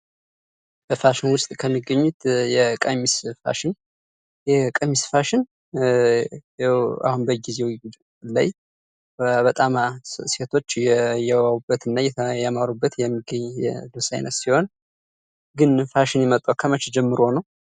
በፋሽን ውስጥ ከሚገኙ የቀሚስ ፋሽን፦ የቀሚስ ፋሽን አሁን በጊዜው ላይ በጣም ሴቶች እየተባቡበት እና እያማሩበት የሚገኝ የልብስ አይነት ሲሆን ግን ይሄ ፋሽን የመጣው ከመቼ ጀምሮ ነው ?